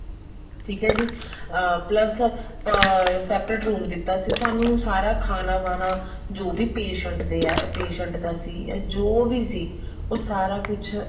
ਠੀਕ ਹੈ ਜੀ plus separate room ਦਿੱਤਾ ਸੀ ਸਾਨੂੰ ਸਾਰਾ ਖਾਣਾ ਵਾਨਾ ਜੋ ਵੀ patient ਦੇ ਆ patient ਦਾ ਸੀ ਜੋ ਵੀ ਸੀ ਉਹ ਸਾਰਾ ਕੁੱਛ